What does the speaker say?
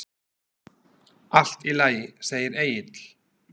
Allt í lagi, segir Egill.